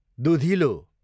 दुधिलो